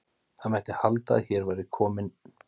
Það mætti halda að hér væri kominn